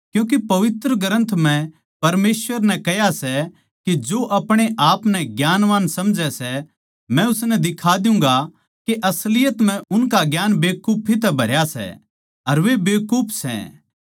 क्यूँके पवित्र ग्रन्थ म्ह परमेसवर नै कह्या सै के जो आपणेआपनै ज्ञानवान समझ सै मै उननै दिखा द्यूँगा के असलियत म्ह उनका ज्ञान बेकुफी तै भरया सै अर वे बेकूफ सै